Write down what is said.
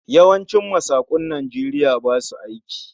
Yawancin masakun Najeriya basu aiki